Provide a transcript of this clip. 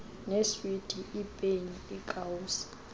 neeswiti iipeni iikawusi